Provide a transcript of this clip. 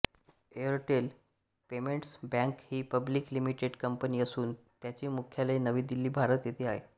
Airtel payments bank ही public limited company असून त्याचे मुख्यालय नवी दिल्ली भारत येथे आहे